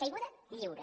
caiguda lliure